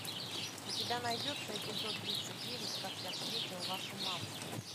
у тебя найдется эпизод тридцать девять как я встретил вашу маму